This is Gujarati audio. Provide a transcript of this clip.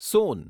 સોન